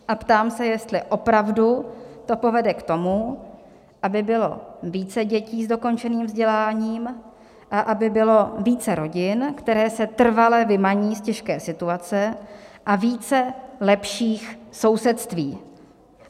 A ptám se, jestli opravdu to povede k tomu, aby bylo více dětí s dokončeným vzděláním a aby bylo více rodin, které se trvale vymaní z těžké situace, a více lepších sousedství.